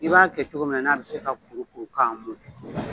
I b'a kɛ cogo min na, n'a be se ka kuru kuru ka mɔn.